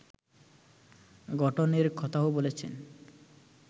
গঠনের কথাও বলেছেন